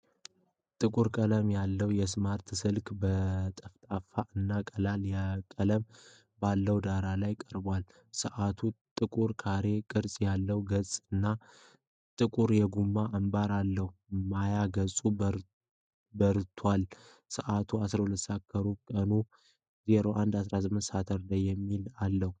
ጥቁር ቀለም ያለው ስማርት ሰዓት በጠፍጣፋ እና ቀላል ቀለም ባለው ዳራ ላይ ቀርቧል። ሰዓቱ ጥቁር ካሬ ቅርጽ ያለው ገጽ እና ጥቁር የጎማ አምባር አለው። ማያ ገጹ በርቷል, ሰዓቱን '12:17'፣ ቀኑን '01-18 SAT' የሚል አለ ።